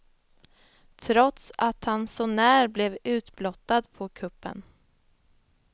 Trots att han sånär blev utblottad på kuppen.